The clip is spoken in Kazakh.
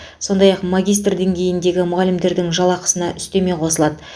сондай ақ магистр деңгейіндегі мұғалімдердің жалақысына үстеме қосылады